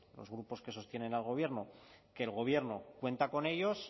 los grupos que sostienen al gobierno que el gobierno cuenta con ellos